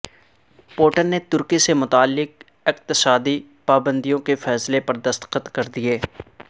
Putin نے ترکی سے متعلق اقتصادی پابندیوں کے فیصلے پر دستخط کردئیے